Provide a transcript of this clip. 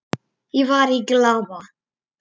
Ég var í Glað.